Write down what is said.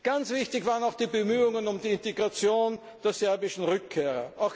Ganz wichtig waren auch die Bemühungen um die Integration der serbischen Rückkehrer.